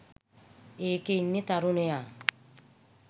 ඒකෙ ඉන්න තරුණයා